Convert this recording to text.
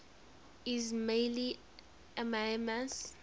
ismaili imams